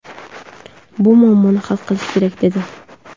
Bu muammoni hal qilish kerak”, dedi.